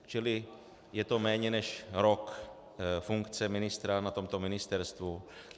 Čili je to méně než rok funkce ministra na tomto ministerstvu.